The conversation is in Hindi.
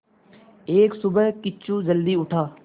एक सुबह किच्चू जल्दी उठा